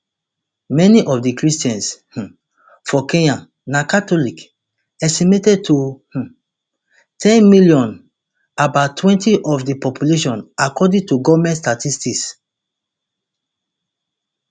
many of di christians um for kenya na catholic estimated to um ten million about twenty of di population according to goment statistics